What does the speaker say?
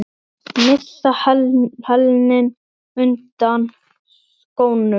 Missa hælinn undan skónum.